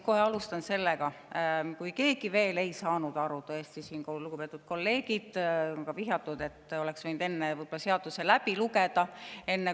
Ma alustan sellest, et siin on vihjatud, et lugupeetud kolleegid oleksid võinud enne, kui küsima või vastu argumenteerima tullakse, eelnõu läbi lugeda.